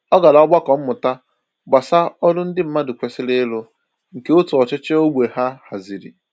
Ọ gara ogbako mmụta gbasà ọrụ ndị mmadụ kwesịrị ịrụ, nke òtù ọchịchị ógbè ha haziri.